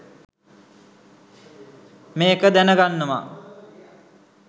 මේක දැන ගන්නවා